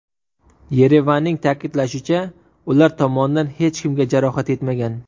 Yerevanning ta’kidlashicha, ular tomondan hech kimga jarohat yetmagan.